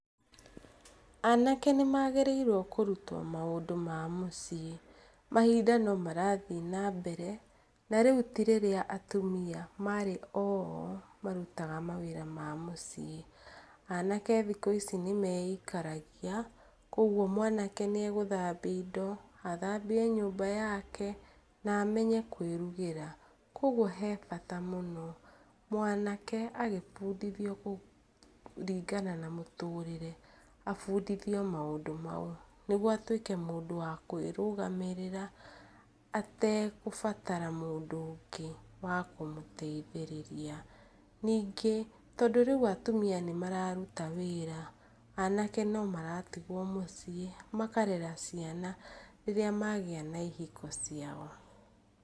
Anake nĩmagĩrĩirwo kũrutwo maũndũ ma mũciĩ. Mahinda no marathiĩ na mbere na rĩu ti rĩrĩa atumia marĩ oo marutaga mawĩra ma mũciĩ. Anake thikũ ici nĩmeikaragia koguo mwanake nĩegũthambia indo, athambie nyũmba yake na amenye kwĩrugĩra, koguo he bata mũno mwanake agĩbundithio kũringana na mũtũrĩre abundithio maũndũ mau. Nĩguo atwĩke mũndũ wa kwĩrũgamĩrĩra ategũbatara mũndũ ũngĩ wa kumũteithĩrĩria, ningĩ tondũ rĩu atumia nĩmararuta wĩra, anake no maratigwo mũciĩ makarera ciana rĩrĩa magĩa na ihiko ciao.